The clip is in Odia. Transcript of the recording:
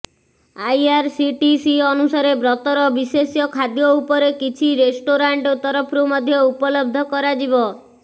ଆଇଆରସିଟିସି ଅନୁସାରେ ବ୍ରତର ବିଶେଷ୍ୟ ଖାଦ୍ୟ ଉପରେ କିଛି ରେଷ୍ଟୋରାଣ୍ଟ ତରଫରୁ ମଧ୍ୟ ଉପଲବ୍ଧ କରାଯିବ